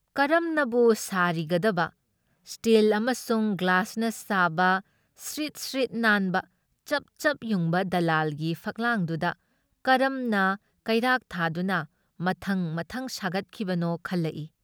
ꯀꯔꯝꯅꯕꯨ ꯁꯥꯔꯤꯒꯗꯕ ꯁ꯭ꯇꯤꯜ ꯑꯃꯁꯨꯡ ꯒ꯭ꯂꯥꯁꯅ ꯁꯥꯕ ꯁ꯭ꯔꯤꯠ ꯁ꯭ꯔꯤꯠ ꯅꯥꯟꯕ ꯆꯞ ꯆꯞ ꯌꯨꯡꯕ ꯗꯂꯥꯜꯒꯤ ꯐꯛꯂꯥꯡꯗꯨꯗ ꯀꯔꯝꯅ ꯀꯩꯔꯥꯛ ꯊꯥꯗꯨꯅ ꯃꯊꯪ ꯃꯊꯪ ꯁꯥꯒꯠꯈꯤꯕꯅꯣ ꯈꯜꯂꯛꯏ ꯫